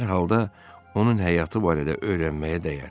Hər halda onun həyatı barədə öyrənməyə dəyər.